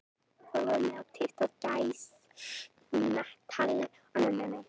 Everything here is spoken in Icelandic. Það var ekki hægt að hlaupa svona í burtu og láta sem ekkert hefði gerst.